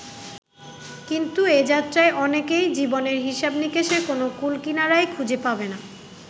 কিন্তু এ যাত্রায় অনেকেই জীবনের হিসাব-নিকাশের কোনো কূল-কিনারাই খুঁজে পাবে না।